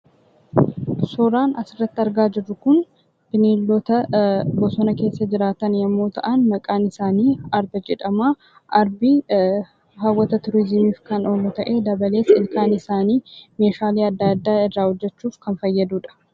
Suuraan asirratti argaa jirru kun, bineeldota bosonaa keessaa jiraatan yemmuu ta'an, maqaan isaanii arba jedhama. Arbi hawwata turizimiif kan oolu ta'ee dabalees ilkaan isaanii meeshaalee addaa addaa irraa hojjechuuf kan fayyadudha.